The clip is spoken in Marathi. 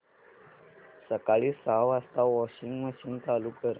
सकाळी सहा वाजता वॉशिंग मशीन चालू कर